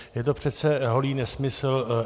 Je to přece holý nesmysl.